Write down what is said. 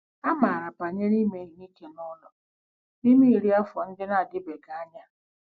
Amara banyere ime ihe ike n'ụlọ n'ime iri afọ ndị na-adịbeghị anya.